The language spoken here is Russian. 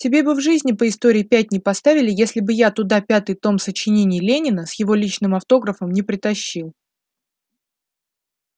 тебе бы в жизни по истории пять не поставили если бы я туда пятый том сочинений ленина с его личным автографом не притащил